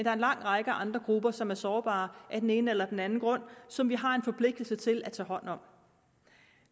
er en lang række andre grupper som er sårbare af den ene eller den anden grund og som vi har en forpligtelse til at tage hånd om